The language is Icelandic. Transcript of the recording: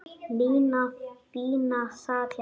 Nína fína sat hjá